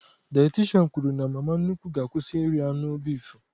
Dayatishan kwụrụ na mama nnukwu ga-akwụsị iri anụ bifu